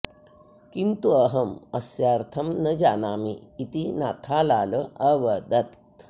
किन्तु अहम् अस्यार्थं न जानामि इति नाथालाल अवदत्